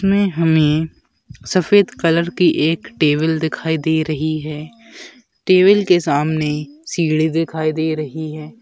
में हमें सफ़ेद कलर की एक टेबल दिखाई दे रही है टेबल के सामने सीढ़ी दिखाई दे रही है।